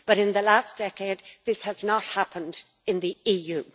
But in the last decade this has not happened in the EU.